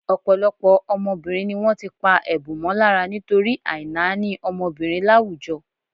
Ọ̀pọ̀lọpọ̀ ọmọbìnrin ni wọ́n ti pá ẹ̀bùn mọ́ lára nítorí àìnáání ọmọbìnrin láwùjọ.